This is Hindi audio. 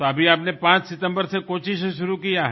तो अभी आपने 5 सितम्बर से कोच्चि से शुरू किया है